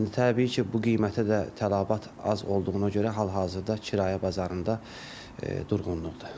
İndi təbii ki, bu qiymətə də tələbat az olduğuna görə hal-hazırda kirayə bazarında durğunluqdur.